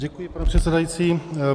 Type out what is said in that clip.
Děkuji, pane předsedající.